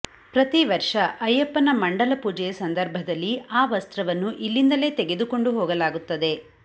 ಪ್ರತಿ ವರ್ಷ ಅಯ್ಯಪ್ಪನ ಮಂಡಲ ಪೂಜೆಯ ಸಂದರ್ಭದಲ್ಲಿ ಆ ವಸ್ತ್ರವನ್ನು ಇಲ್ಲಿಂದಲೆ ತೆಗೆದುಕೊಂಡು ಹೋಗಲಾಗುತ್ತದೆ